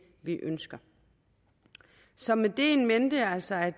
vi ønsker så med det in mente altså at